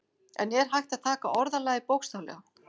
En er hægt að taka orðalagið bókstaflega?